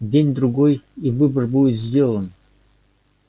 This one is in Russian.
день-другой и выбор будет сделан